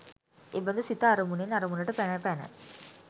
එබඳු සිත අරමුණෙන් අරමුණට පැන පැන